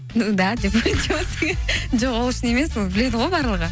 ну да деп жоқ ол үшін емес ол біледі ғой барлығы